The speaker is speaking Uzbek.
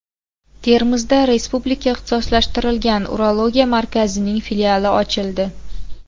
Termizda Respublika ixtisoslashtirilgan urologiya markazining filiali ochildi.